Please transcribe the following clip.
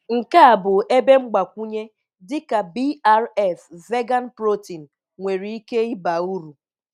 Nke a bụ ebe mgbakwunye dị ka BRF Vegan Protein nwere ike ịba uru.